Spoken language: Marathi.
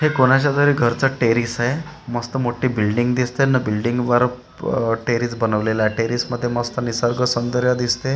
हे कोणाच्या तरी घरचं टेरीस आहे मस्त मोठी बिल्डींग दिसते न बिल्डींगवर अ टेरीस बनवलेलं आहे टेरीसमध्ये मस्त निसर्गसौंदर्य दिसते आणि --